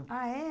Ah, é?